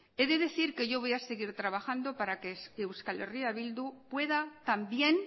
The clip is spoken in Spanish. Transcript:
he de decir que yo voy a seguir trabajando para que euskal herria bildu pueda también